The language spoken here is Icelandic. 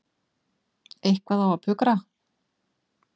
Eitthvað á að pukra.